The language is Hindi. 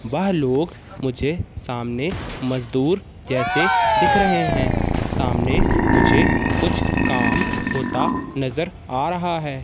वहा लोग मुझे सामने मजदूर जैसे दिख रहे हैं। सामने मुझे कुछ काम होता नजर आ रहा है।